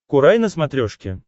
курай на смотрешке